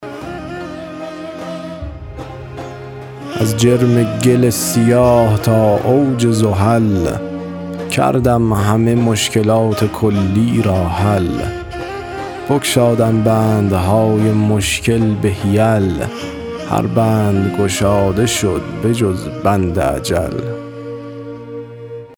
از جرم گل سیاه تا اوج زحل کردم همه مشکلات کلی را حل بگشادم بندهای مشکل به حیل هر بند گشاده شد بجز بند اجل